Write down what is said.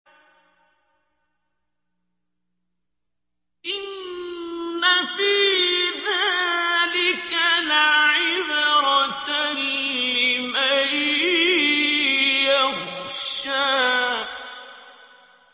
إِنَّ فِي ذَٰلِكَ لَعِبْرَةً لِّمَن يَخْشَىٰ